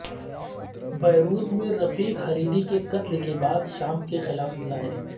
Beirut میں Rafik Hariri کے قتل کے بعد شام کے خلاف مظاہرے